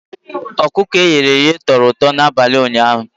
Ọkụkọ e ghere eghe toro ụtọ n'abalị ụnyaahụ.